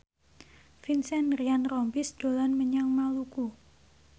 Vincent Ryan Rompies dolan menyang Maluku